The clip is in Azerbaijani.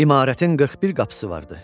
İmarətin 41 qapısı vardı.